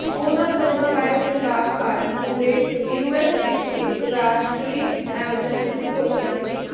ਉਨ੍ਹਾਂ corona virus ਦੀ ਲਾਗ ਕਾਰਨ ਪੂਰੇ ਯੂਐਸ ਵਿੱਚ ਇੱਕ ਰਾਸ਼ਟਰੀ ਐਮਰਜੈਂਸੀ ਦੀ ਘੋਸ਼ਣਾ ਕੀਤੀ